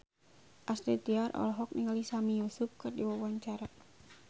Astrid Tiar olohok ningali Sami Yusuf keur diwawancara